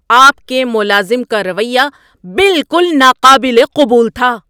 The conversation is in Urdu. آپ کے ملازم کا رویہ بالکل ناقابل قبول تھا